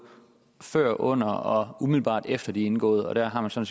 før under og umiddelbart efter at de er indgået der har man så